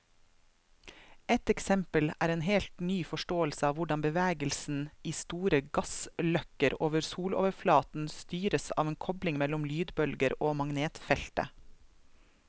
Et eksempel er en helt ny forståelse av hvordan bevegelsen i store gassløkker over soloverflaten styres av en kobling mellom lydbølger og magnetfeltet.